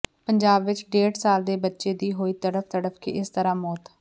ਪੰਜਾਬ ਚ ਡੇਢ ਸਾਲਾ ਦੇ ਬੱਚੇ ਦੀ ਹੋਈ ਤੜਫ ਤੜਫ ਕੇ ਇਸ ਤਰਾਂ ਮੌਤ